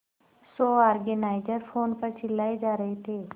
show organiser phone पर चिल्लाए जा रहे थे